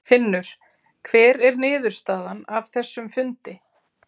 Finnur: Hver er niðurstaðan af þessum fundi?